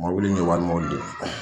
Mobili in ye wali mobili de ye